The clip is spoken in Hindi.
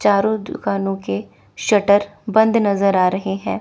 चारों दुकानों के शटर बंद नजर आ रहे हैं।